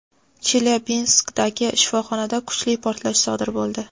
Chelyabinskdagi shifoxonada kuchli portlash sodir bo‘ldi.